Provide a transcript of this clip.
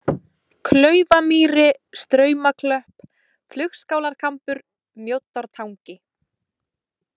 Klaufamýri, Straumaklöpp, Flugskálarkambur, Mjóddartangi